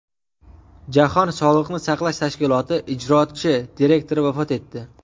Jahon sog‘liqni saqlash tashkiloti ijrochi direktori vafot etdi.